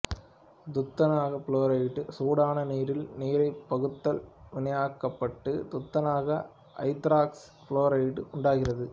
துத்தநாக புளோரைட்டு சூடான நிரினால் நீராற் பகுத்தல் வினைக்குட்பட்டு துத்தநாக ஐதராக்சி புளோரைட்டு உண்டாகிறது